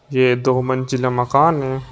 ये दो मंजिला मकान है।